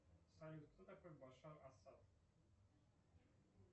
салют кто такой башар асад